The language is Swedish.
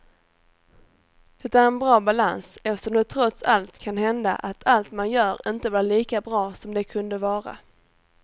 Det är en bra balans eftersom det trots allt kan hända att allt man gör inte blir lika bra som det kunde vara.